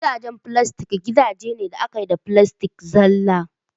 Gidajen filastik gidaje ne da aka yi da filastik zalla